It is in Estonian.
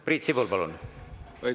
Priit Sibul, palun!